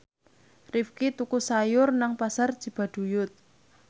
Rifqi tuku sayur nang Pasar Cibaduyut